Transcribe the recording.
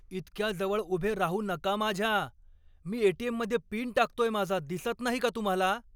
इतक्या जवळ उभे राहू नका माझ्या! मी एटीएममध्ये पिन टाकतोय माझा, दिसत नाही का तुम्हाला?